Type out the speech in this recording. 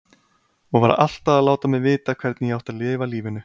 Og var alltaf að láta mig vita hvernig ég átti að lifa lífinu.